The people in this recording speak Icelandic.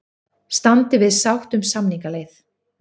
Standi við sátt um samningaleið